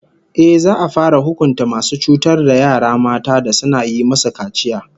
Ehh, za'a fara hukunta masu cutar da yara mata da suna yi musu kaciya